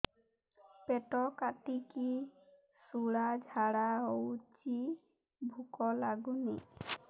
ପେଟ କାଟିକି ଶୂଳା ଝାଡ଼ା ହଉଚି ଭୁକ ଲାଗୁନି